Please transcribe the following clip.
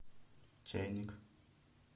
чайник